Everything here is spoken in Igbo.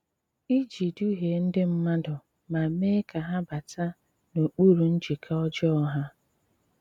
Ìji dǔhìè ndị mmàdù mà mèè ka hà bàtà n’okpùrù njìkà ọ̀jọọ ha!